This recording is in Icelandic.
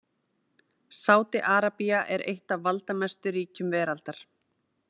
Sádi-Arabía er eitt af valdamestu ríkjum veraldar.